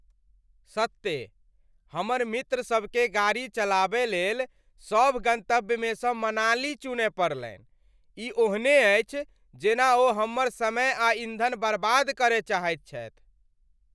सत्ते, हमर मित्रसभकेँ गाड़ी चलाबय लेल सभ गन्तव्यमेसँ मनाली चुनय पड़लनि? ई ओहने अछि जेना ओ हमर समय आ ईन्धन बर्बाद करय चाहैत छथि!